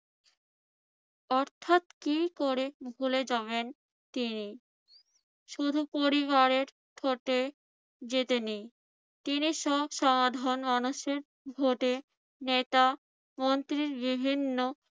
অর্থাৎ কি করে ভুলে যাবেন তিনি? শুধু পরিবারের ভোটে জিতেনি, তিনি সব সাধারণ মানুষের ভোটে নেতা মন্ত্রী বিভিন্ন